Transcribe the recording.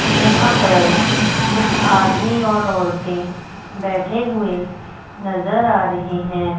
जहां पर कुछ आदमी और औरतें बैठे हुए नजर आ रहे हैं।